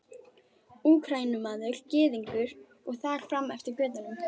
Úkraínumaður, Gyðingur og þar fram eftir götum.